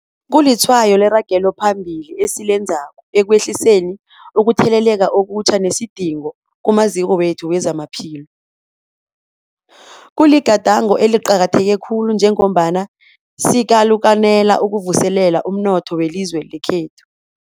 Kulitshwayo leragelo phambili esilenzako ekwehliseni ukutheleleka okutjha nesidingo kumaziko wethu wezamaphilo. Kuligadango eliqakatheke khulu njengombana sikalukanela ukuvuselela umnotho welizwe lekhethu.